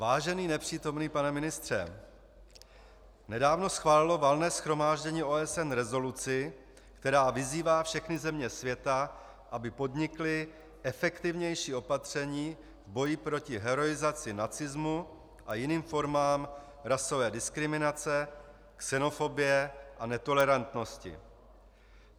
Vážený nepřítomný pane ministře, nedávno schválilo Valné shromáždění OSN rezoluci, která vyzývá všechny země světa, aby podnikly efektivnější opatření v boji proti heroizaci nacismu a jiným formám rasové diskriminace, xenofobie a netolerantnosti.